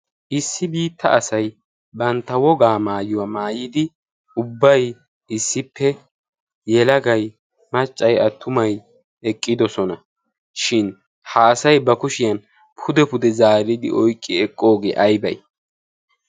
issi biitta asai bantta wogaa maayuwaa maayidi ubbai issippe yelagai maccai attumai eqqidosona. shin haasai ba kushiyan pude pude zaaridi oiqqi eqqoogee aibai?